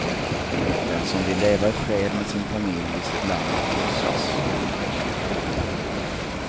Den som vill leva i fred med sin familj i sitt land krossas. punkt